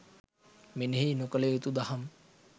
මෙනෙහි නොකළ යුතු දහම්